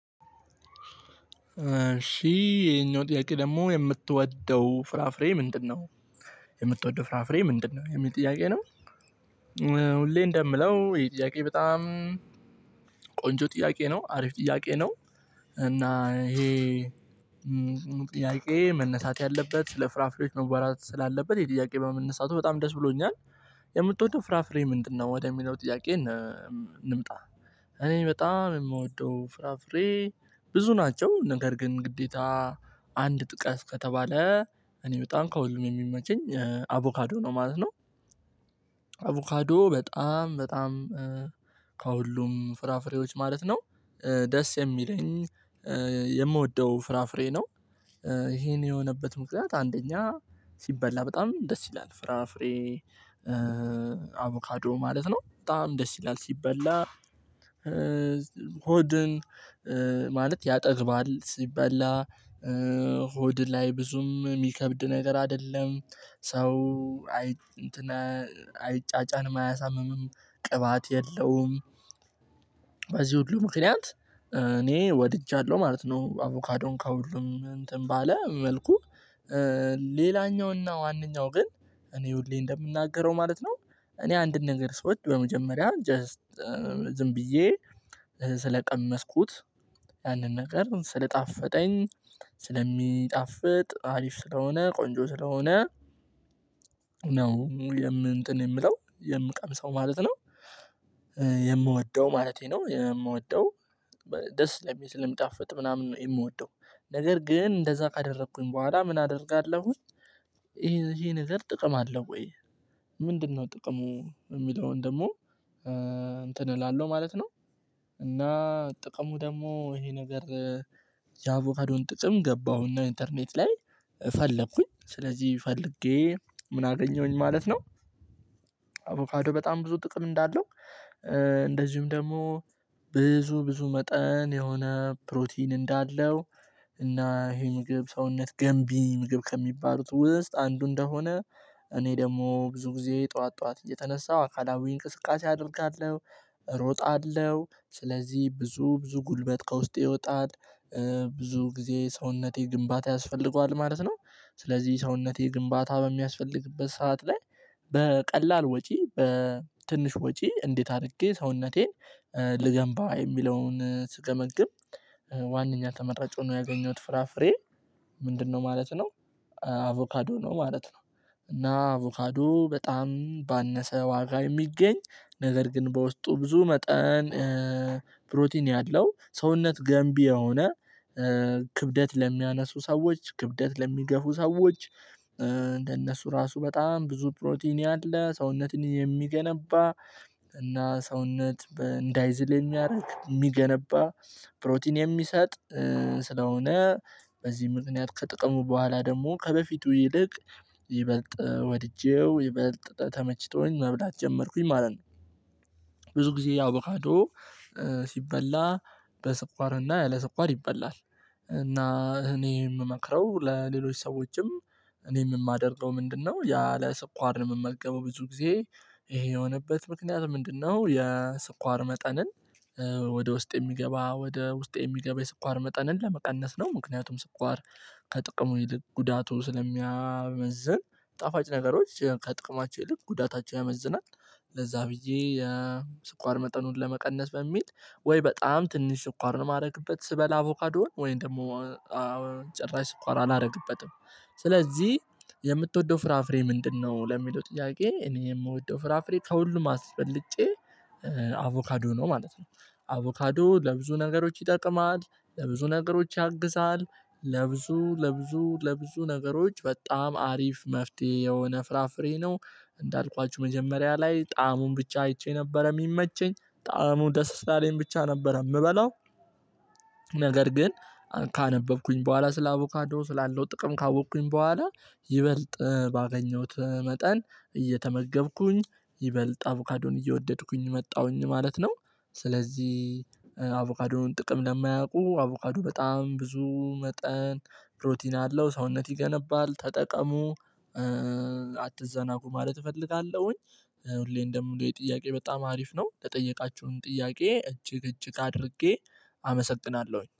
እሺ ይሄኛው ጥያቄ ደግሞ የምትወደው ፍራፍሬ ምንድነው? የምትወደው ፍራፍሬ ምንድነው የሚል ጥያቄ ነው ሁሌ እንደምለው ይሄ ጥያቄ በጣም ቆንጆ ጥያቄ ነው አሪፍ ጥያቄ ነው እና ይሄ ጥያቄ መነሳት ያለበት ስለ ፍራፍሬዎች መዋራት ስላለበት የጥያቄ በመነሳቱ በጣም ደስ ብሎኛል የምትወደው ፍራፍሬ ምንድነው ወደሚለው ጥያቄ እንምጣ እኔ በጣም የምወደው ፍራፍሬ ብዙ ናቸው ነገር ግን ግዴታ አንድ ጥቀስ ከተባለ እኔ በጣም ከውልን የሚመቸኝ አቮካዶ ነው ማለት ነው። አቮካዶ በጣም በጣም ከሁሉም ፍራፍሬዎች ማለት ነው ደስ የሚለኝ የምወደው ፍራፍሬ ነው። ይሄን የሆነበት ምክንያት አንደኛ ሲበላ በጣም ደስ ይላል ፍራፍሬ አቮካዶ ማለት ነው በጣም ደስ ይላል ሲበላ ሆድን ማለት ያጠግባል ሲበላ ሆድ ላይ ብዙም የሚከብድ ነገር አይደለም ሰው አይ እንትን አይጫጫንም አያሳምምም ቅባት የለውም በዚህ ሁሉ ምክንያት እኔ ወድጃለሁ ማለት ነው አቮካዶን ከሁሉም እንትን ባለ መልኩ ሌላኛው እና ዋነኛው ግን እኔ ውልዬ እንደምናገረው ማለት ነው እኔ አንድን ነገር ሰዎች በመጀመሪያ ጀስት ዝም ብዬ ስለቀመስኩት ያንን ነገር ስለጣፈጠኝ ስለሚጣፍጥ አሪፍ ስለሆነ ቆንጆ ስለሆነ ነው የምንጥን የምለው የምቀምሰው ማለት ነው። የምወደው ማለቴ ነው የምወደው ደስ ስለ ልምጣፍጥ ምናምን ነው የምወደው ነገር ግን እንደዛ ካደረኩኝ በኋላ ምን አደርጋለሁ ይሄ ይሄ ነገር ጥቅም አለው ወይ ምንድነው ጥቅሙ የሚለውን ደግሞ እንትን እላለሁ ማለት ነው እና ጥቅሙ ደግሞ ይሄ ነገር ያቮፈዶን ጥቅም ገባሁና ኢንተርኔት ላይ ፈለኩኝ ስለዚህ ፈልጌ ምን አገኘሁኝ ማለት ነው አቮፋዶ በጣም ብዙ ጥቅም እንዳለው እንደዚሁም ደግሞ ብዙ ብዙ መጠን የሆነ ፕሮቲን እንዳለው እና ይሄ ምግብ ሰውነት ገንቢ ምግብ ከሚባሉት ውስጥ አንዱ እንደሆነ እኔ ደግሞ ብዙ ጊዜ ጠዋት ጠዋት እየተነሳው አካላዊ እንቅስቃሴ አደርጋለሁ እሮጣለሁ ስለዚህ ብዙ ብዙ ጉልበት ከውስጤ ይወጣል ብዙ ጊዜ ሰውነቴ ግንባታ ያስፈልገዋል ማለት ነው ስለዚህ ሰውነቴ ግንባታ በሚያስፈልግበት ሰዓት ላይ በቀላል ወጪ በትንሽ ወጪ እንዴት አድርጌ ሰውነቴን ልገንባ የሚለውን ስቀመግም ዋናኛ ተመራጭ ሆኖ ያገኘሁት ፍራፍሬ ምንድነው ማለት ነው አቮካዶ ነው ማለት ነው እና አቮካዶ በጣም ባነሰ ዋጋ የሚገኝ ነገር ግን በውስጡ ብዙ መጠን ፕሮቲን ያለው ሰውነት ገንቢ የሆነ ክብደት ለሚያነሱ ሰዎች ክብደት ለሚገፉ ሰዎች እንደነሱ ራሱ በጣም ብዙ ፕሮቲን ያለ ሰውነትን የሚገነባ እና ሰውነት እንዳይዝል የሚያደርግ የሚገነባ ፕሮቲን የሚሰጥ ስለሆነ በዚህ ምክንያት ከጥቅሙ በኋላ ደግሞ ከበፊቱ ይልቅ ይበልጥ ወድጄው ይበልጥ ተመችቶኝ መብላት ጀመርኩኝ ማለት ነው። ብዙ ጊዜ ያው አቮካዶ ሲበላ በስኳርና ያለ ስኳር ይበላል እና እኔ የምመክረው ለሌሎች ሰዎችም እኔም የማደርገው ምንድነው ያለ ሰኳር የምመገበው ብዙ ጊዜ ይሄ የሆነበት ምክንያት ምንድነው የስኳር መጠንን ወደ ውስጥ የሚገባ ወደ ውስጤ የሚገባ የስኳር መጠንን ለመቀነስ ነው ምክንያቱም ስኳር ከጥቅሙ ይልቅ ጉዳቱ ስለሚያመዝን ጣፋጭ ነገሮች ከጥቅማቸው ይልቅ ጉዳታቸው ያመዝናል ለዛ ብዬ የስኳር መጠኑን ለመቀነስ በሚል ወይ በጣም ትንሽ ስኳር ነው የማደርግበት ስበላ አቮካዶን ወይም ደግሞ ጭራሽ ስኳር አላደርግበትም ስለዚህ የምትወደው ፍራፍሬ ምንድነው ለሚለው ጥያቄ እኔ የምወደው ፍራፍሬ ከሁሉም አስበልጬ አቮካዶ ነው ማለት ነው አቮካዶ ለብዙ ነገሮች ይጠቅማል ለብዙ ነገሮች ያግዛል ለብዙ ለብዙ ለብዙ ነገሮች በጣም አሪፍ መፍትሄ የሆነ ፍራፍሬ ነው እንዳልኳችሁ መጀመሪያ ላይ ጣዕሙን ብቻ አይቼ ነበር የሚመቸኝ ጣዕሙን ደስ ላለኝ ብቻ ነበር የምበለው ነገር ግን ካነበብኩኝ በኋላ ስለ አቮካዶ ስላለው ጥቅም ካወቅኩኝ በኋላ ይበልጥ ባገኘሁት መጠን እየተመገብኩኝ ይበልጥ አቮካዶን እየወደድኩኝ መጣሁኝ ማለት ነው ስለዚህ አቮቃዱን ጥቅም ለማያውቁ አቮቃዱ በጣም ብዙ መጠን ፕሮቲን አለው ሰውነት ይገነባል ተጠቀሙ አትዘናጉ ማለት እፈልጋለሁኝ እኔ እንደምለው የጥያቄ በጣም አሪፍ ነው ለጠየቃችሁም ጥያቄ እጅግ እጅግ አድርጌ አመሰግናለሁኝ።